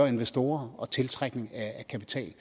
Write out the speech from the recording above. investorer og tiltrække mere kapital end